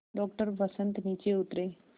doctor Vasant नीचे उतरे